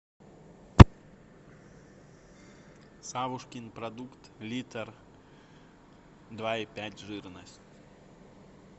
савушкин продукт литр два и пять жирность